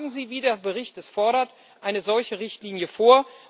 Schlagen Sie, wie der Bericht es fordert, eine solche Richtlinie vor!